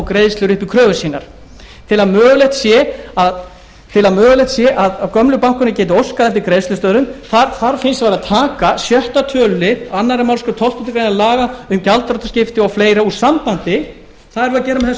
greiðslur upp í kröfur sínar til að mögulegt sé að gömlu bankarnir geti óskað eftir greiðslustöðvun þarf fyrst og fremst að taka sjötta tölulið annarri málsgrein tólftu grein laga um gjaldþrotaskipti og fleira úr sambandi það erum við að gera